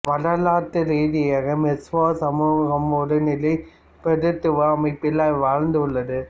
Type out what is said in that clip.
வரலாற்று ரீதியாக மொசுவோ சமூகம் ஒரு நிலப்பிரபுத்துவ அமைப்பில் வாழ்ந்துள்ளது